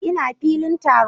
Ina a filin taron